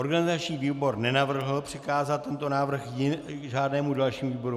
Organizační výbor nenavrhl přikázat tento návrh žádnému dalšímu výboru.